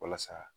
Walasa